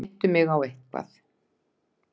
Minntu mig á eitthvað.